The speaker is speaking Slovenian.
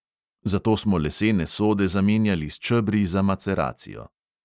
Zato smo lesene sode zamenjali s čebri za maceracijo.